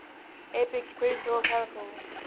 apex predator caracal